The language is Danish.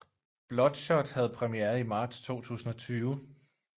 Bloodshot havde premiere i marts 2020